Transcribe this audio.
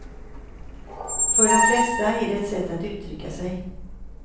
För de flesta är det ett sätt att uttrycka sig.